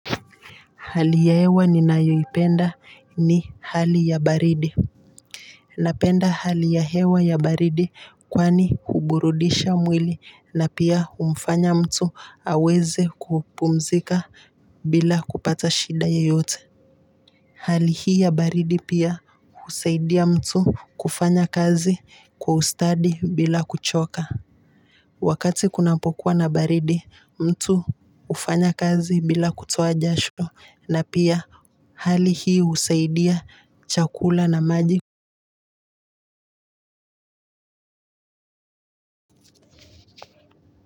Hali ya hewa ninayoipenda ni hali ya baridi Napenda hali ya hewa ya baridi kwani huburudisha mwili na pia humfanya mtu aweze kupumzika bila kupata shida yoyote Hali hii ya baridi pia husaidia mtu kufanya kazi kwa ustadi bila kuchoka Wakati kunapokuwa na baridi mtu hufanya kazi bila kutoa jasho na pia hali hii husaidia chakula na maji.